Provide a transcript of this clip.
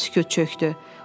Araya sükut çökdü.